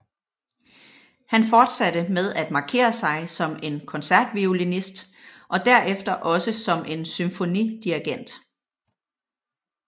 Han fortsatte med at markere sig som en koncertviolinist og derefter også som en symfonidirigent